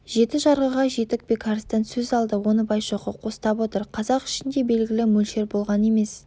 жеті жарғыға жетік бекарыстан сөз алды оны байшоқы қостап отыр қазақ ішінде белгілі мөлшер болған емес